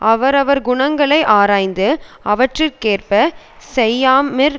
அவரவர் குணங்களை ஆராய்ந்து அவற்றிற்கேற்பச் செய்யாமெற்